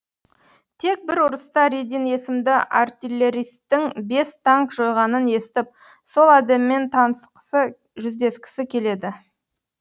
тек бір ұрыста редин есімді артиллеристің бес танк жойғанын естіп сол адаммен танысқысы жүздескісі келеді